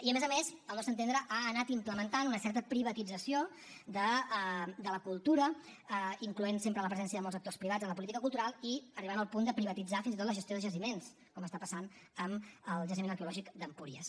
i a més a més al nostre entendre ha anat implementant una certa privatització de la cultura incloent sempre la presència de molts actors privats en la política cultural i arribant al punt de privatitzar fins i tot la gestió de jaciments com està passant amb el jaciment arqueològic d’empúries